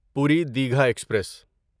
پوری دیگھا ایکسپریس